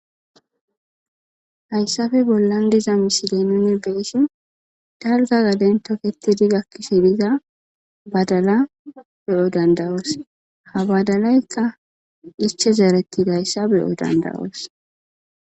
hayssafe bollan diza misidey nuni beessin dalza gaden toketidi gakkishe biza badala beyo dandawoos ha badalaykka iche zearetti gayssa beyo dandawoos